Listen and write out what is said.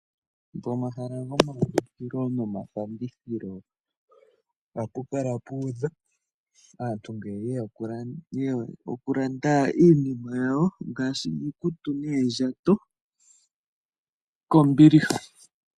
Pomahala gomalandithilo nomafandithilo ohapu kala puudha ngele aantu yeya oku landa iinima yawo ngaashi iikutu noondjato kombiliha.